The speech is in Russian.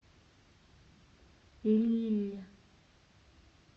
лилль